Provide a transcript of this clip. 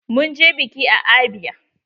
Mun je biƙi a abia.